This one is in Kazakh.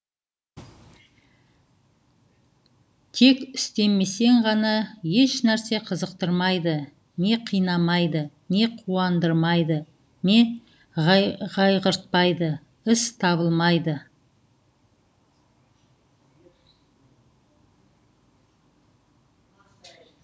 тек істемесең ғана еш нәрсе қызықтырмайды не қинамайды не қуандырмайды не қайғыртпайды іс табылмайды